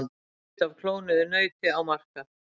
Kjöt af klónuðu nauti á markað